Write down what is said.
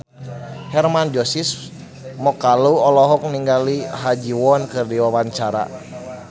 Hermann Josis Mokalu olohok ningali Ha Ji Won keur diwawancara